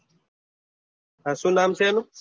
હા શું નામ છે એનું